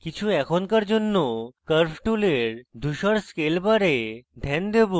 কিছু এখনকার জন্য আমি curve টুলের ধূসর scale bar ধ্যান দেবো